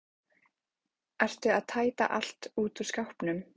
Ertu að tæta allt út úr skápnum?